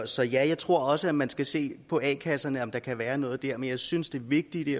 så ja jeg tror også at man skal se på a kasserne og om der kan være noget dér men jeg synes det vigtige i